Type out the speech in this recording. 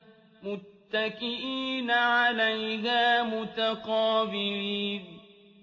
مُّتَّكِئِينَ عَلَيْهَا مُتَقَابِلِينَ